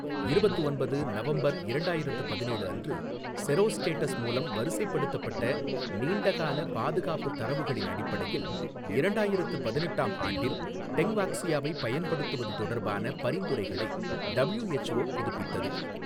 இருபத்து ஒன்பது நவம்பர் இரண்டாயிரத்து பதினேழு அன்று செரோஸ்டேட்டஸ் மூலம் வரிசைப்படுத்தப்பட்ட நீண்ட கால பாதுகாப்பு தரவுகளின் அடிப்படையில், இரண்டாயிரத்து பதினெட்டு ஆம் ஆண்டில் டெங்வாக்ஸியாவைப் பயன்படுத்துவது தொடர்பான பரிந்துரைகளை டபிள்யூஎச்ஓ புதுப்பித்தது.